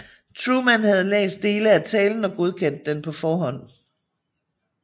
Truman havde læst dele af talen og godkendt den på forhånd